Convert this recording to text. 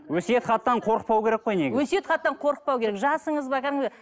өсиет хаттан қорықпау керек қой негізі өсиет хаттан қорықпау керек жасыңыз ба кәдімгі